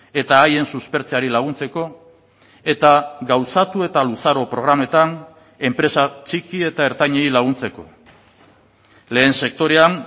eta haien suspertzeari laguntzeko eta gauzatu eta luzaro programetan enpresa txiki eta ertainei laguntzeko lehen sektorean